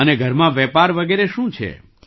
અને ઘરમાં વેપાર વગેરે શું છે